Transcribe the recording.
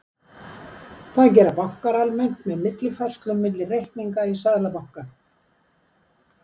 Það gera bankar almennt með millifærslum milli reikninga í seðlabanka.